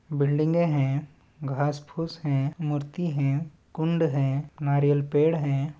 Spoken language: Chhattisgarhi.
बिल्डिंगें है घास फूस है मुर्ती है कुण्ड है नारियल पेड़ है।